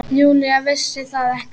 Júlía vissi það ekki.